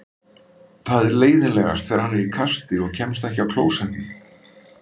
Það er leiðinlegast þegar hann er í kasti og kemst ekki á klósettið.